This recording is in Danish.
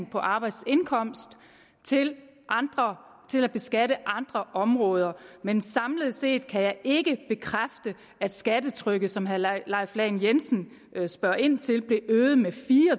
på arbejdsindkomst til til beskatning af andre områder men samlet set kan jeg ikke bekræfte at skattetrykket som herre leif lahn jensen spørger ind til blev øget med fire og